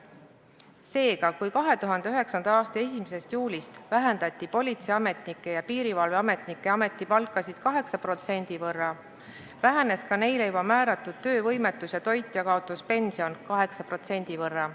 Seega, kui 2009. aasta 1. juulist vähendati politseiametnike ja piirivalveametnike ametipalka 8% võrra, vähenes ka neile juba määratud töövõimetus- ja toitjakaotuspension 8% võrra.